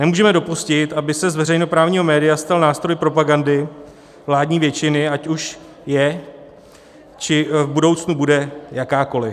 Nemůžeme dopustit, aby se z veřejnoprávního média stal nástroj propagandy vládní většiny, ať už je či v budoucnu bude jakákoli.